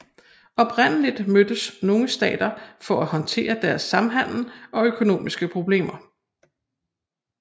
Oprindelig mødtes nogle stater for at håndtere deres samhandel og økonomiske problemer